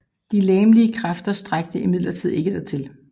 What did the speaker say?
De legemlige kræfter strakte imidlertid ikke til